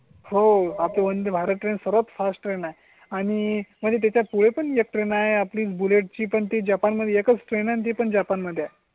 हो आपण वंदे भारत ट्रेन्स वर फास्टर नाही आणि त्याच्या पुढे पणे ट्रेन आहे. आपली बुलेट ची पणती जपान मध्ये एकच विनंती पण जपान मध्ये.